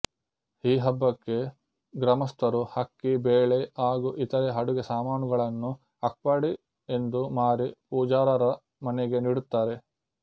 ಈ ಹಬ್ಬಕ್ಕೆ ಗ್ರಾಮಸ್ಥರು ಅಕ್ಕಿ ಬೇಳೆ ಹಾಗೂ ಇತರೆ ಅಡುಗೆ ಸಾಮಾನುಗಳನ್ನು ಅಕ್ಪಡಿ ಎಂದು ಮಾರಿ ಪೂಜಾರರ ಮನೆಗೆ ನೀಡುತ್ತಾರೆ